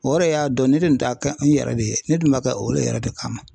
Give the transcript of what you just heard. O yɛrɛ y'a dɔn ne dun t'a kɛ n yɛrɛ de ye ne dun ma kɛ o ye yɛrɛ de kama